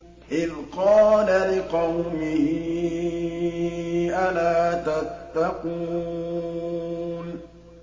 إِذْ قَالَ لِقَوْمِهِ أَلَا تَتَّقُونَ